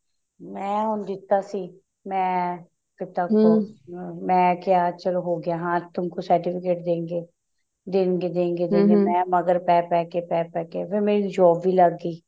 ਮੈਂ ਹੁਣ ਦਿੱਤਾ ਸੀ ਮੈਂ ਮੈਂ ਕਿਹਾ ਚਲੋ ਹੁਣ ਹੋਗਿਆ ਹਾਂ ਤੁਮਕੋ certificate ਦੇਣਗੇ ਦੇਣਗੇ ਦੇਣਗੇ ਪੈ ਪੈ ਕੇ ਫ਼ਰ ਮੇਰੀ job ਵੀ ਲੱਗ ਗਈ